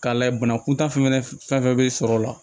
K'a layɛ banakuntan fɛn fɛn bɛ sɔrɔ o la